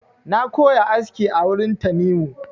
Na koya aski a wurin Tanimu.